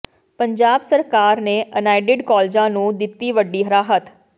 ਪੰਜਾਬ ਸਰਕਾਰ ਨੇ ਅਨਏਡਿਡ ਕਾਲਜਾਂ ਨੂੰ ਦਿੱਤੀ ਵੱਡੀ ਰਾਹਤ